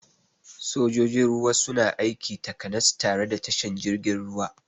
Sojojin ruwa suna aiki takanas tare da tashan jirgin ruwa